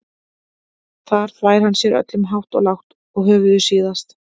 Þar þvær hann sér öllum hátt og lágt og höfuðið síðast.